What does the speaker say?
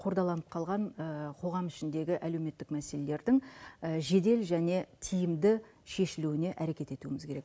қордаланып қалған қоғам ішіндегі әлеуметтік мәселелердің жедел және тиімді шешілуіне әрекет етуіміз керек